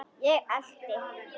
Ég elti.